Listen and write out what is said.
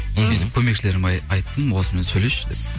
көмекшілеріме айттым осымен сөйлесші деп